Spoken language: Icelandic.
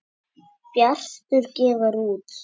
Bjartur gefur út.